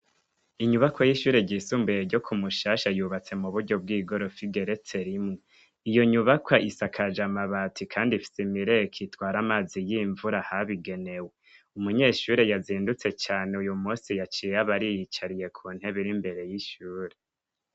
Inyubako y'ishure ry'isumbuye ryo ku Mushasha yubatse mu buryo bw'igorofa igeretse rimwe iyo nyubaka isakaje amabati kandi ifise imireko itwara amazi y'imvura habigenewe umunyeshure yazindutse cane uyu musi yaciye aba ariyicariye ku ntebe iri imbere y'ishure.